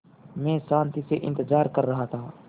मैं शान्ति से इंतज़ार कर रहा था